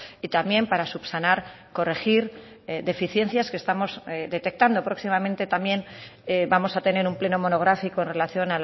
y también para subsanar corregir deficiencias que estamos detectando próximamente también vamos a tener un pleno monográfico en relación